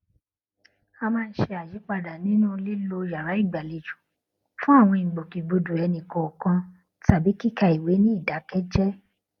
a máa ń ṣe àyípadà nínú lílo yàrá ìgbàlejò fún àwọn ìgbòkègbodò ẹni kọọkan tàbí kíka ìwé ní ìdákéjéé